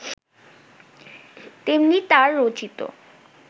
তেমনি তাঁর রচিত